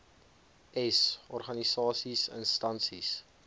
s organisasies instansies